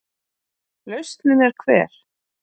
Lausnin er hver?